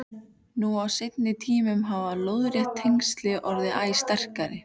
Nú á seinni tímum hafa lóðrétt tengsl orðið æ sterkari.